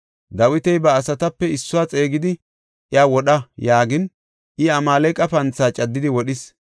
Dawiti ba asatape issuwa xeegidi, “Iya wodha” yaagin, I Amaaleqa panthaa caddidi wodhis.